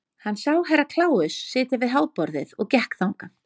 Hann sá Herra Kláus sitja við háborðið og gekk þangað.